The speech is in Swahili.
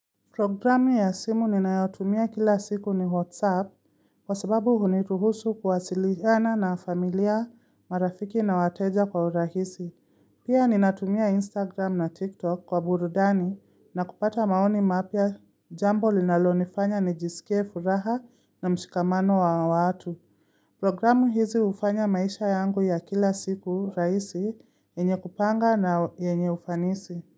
Programu ya simu ninayotumia kila siku ni WhatsApp kwa sababu huniruhusu kuwasiliana na familia marafiki na wateja kwa urahisi. Pia ninatumia Instagram na TikTok kwa burudani na kupata maoni mapya jambo linalonifanya nijisikie furaha na mshikamano wa watu. Programu hizi hufanya maisha yangu ya kila siku rahisi yenye kupanga na yenye ufanisi.